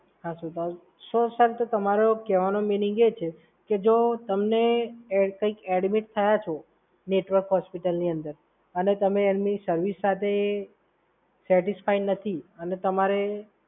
તો સર તમારો કેવાનો મીનિંગ એ છે કે જો તમને ક્યાંક એડ્મિટ થયા છો નેટવર્ક હોસ્પિટલની અંદર અને તમે એની સર્વિસ સાથે સેટિસફાય નથી અને તમારે,